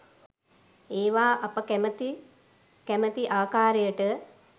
ඒවා අප කැමැති කැමැති ආකාරයට